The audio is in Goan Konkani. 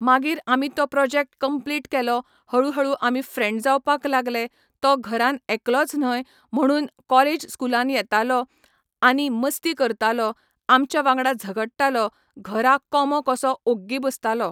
मागीर आमी तो प्रोजेक्ट कंप्लीट केलो हळू हळू आमी फ्रेण्ड जावपाक लागले तो घरान एकलोच न्हय म्हणून कॉलेज स्कुलान येतालो आनी मस्ती करतालो आमच्या वांगडा झगडटालो घरा कोमो कसो ओग्गी बसतालो